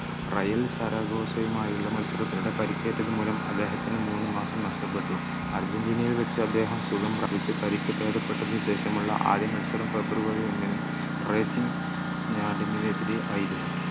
Real Zaragoza മായുള്ള മത്സരത്തിനിടെ പരിക്കേറ്റത് മൂലം അദ്ദേഹത്തിന് മൂന്ന് മാസം നഷ്ടപ്പെട്ടു അർജൻറീനയിൽ വച്ച് അദ്ദേഹം സുഖം പ്രാപിച്ചു പരിക്ക് ഭേദപ്പെട്ടതിന് ശേഷമുള്ള ആദ്യ മത്സരം ഫെബ്രുവരി ഒന്നിന് എതിരെ ആയിരുന്നു